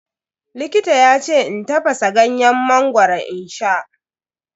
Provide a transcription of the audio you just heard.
Likita yace in tafasa ganyen mangoro in sha.